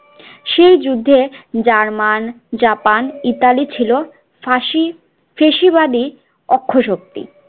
সেই যুদ্ধে German Japan Italy ছিল ফাসি ফেসিবাদী অক্ষশক্তি